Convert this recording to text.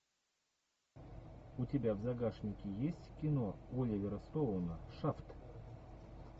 у тебя в загашнике есть кино оливера стоуна шафт